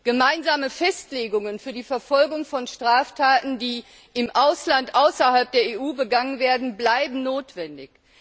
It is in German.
Gemeinsame Festlegungen für die Verfolgung von Straftaten, die im Ausland außerhalb der EU begangen werden, bleiben weiter notwendig.